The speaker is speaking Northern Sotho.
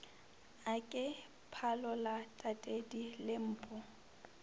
a ke phalola tatedi lempo